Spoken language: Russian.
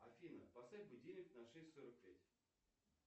афина поставь будильник на шесть сорок пять